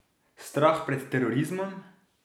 Strah pred terorizmom?